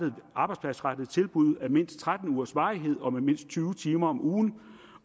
arbejdspladsrettede tilbud af mindst tretten ugers varighed og med mindst tyve timer om ugen